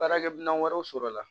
Baarakɛ minɛn wɛrɛw sɔrɔ la